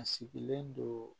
A sigilen don